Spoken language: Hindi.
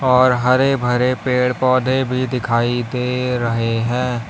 और हरे भरे पेड़ पौधे भी दिखाई दे रहे हैं।